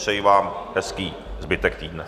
Přeji vám hezký zbytek týdne.